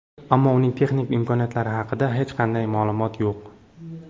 Ammo uning texnik imkoniyatlari haqida hech qanday ma’lumot yo‘q.